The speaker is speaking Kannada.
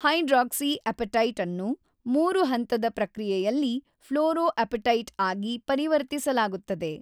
ಹೈಡ್ರಾಕ್ಸಿಅಪಟೈಟ್ ಅನ್ನು ಮೂರು ಹಂತದ ಪ್ರಕ್ರಿಯೆಯಲ್ಲಿ ಫ್ಲೋರೋಅಪಟೈಟ್ ಆಗಿ ಪರಿವರ್ತಿಸಲಾಗುತ್ತದೆ.